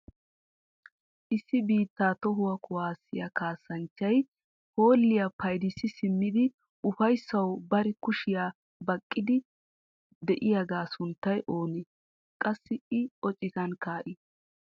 issi biitta tohuwaa kuwassiyaa kassanchchay hoolliya payddissi simmidi uffayssaw bari kushiyaa baqqiidi de'iyaaga sunttay oone? qassi I o citan kaa'i?